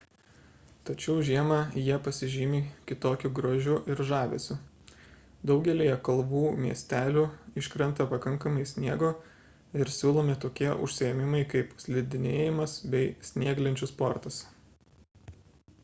tačiau žiemą jie pasižymi kitokiu grožiu ir žavesiu daugelyje kalvų miestelių iškrenta pakankamai sniego ir siūlomi tokie užsiėmimai kaip slidinėjimas bei snieglenčių sportas